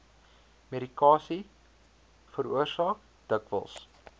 medikasie veroorsaak dikwels